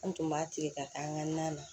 An tun b'a tile ka taa an ka na na